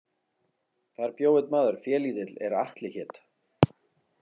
Þar bjó einn maður félítill er Atli hét.